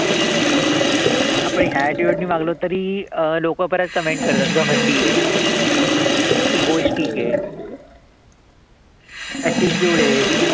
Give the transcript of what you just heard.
आपण ह्या attitude नि वागलो तरी लोक बऱ्याच comment करतात ए, egoistic ए. attitude ए.